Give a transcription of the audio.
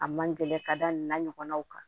A man gɛlɛn ka da nin n'a ɲɔgɔnnaw kan